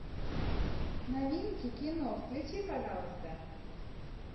новинки кино включи пожалуйста